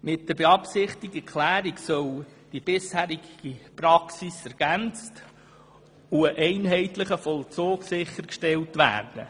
Mit der beabsichtigten Klärung soll die bisherige Praxis ergänzt und ein einheitlicher Vollzug sichergestellt werden.